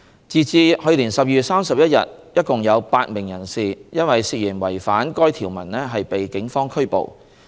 截至2019年12月31日，一共有8名人士因涉嫌違反該條文被警方拘捕。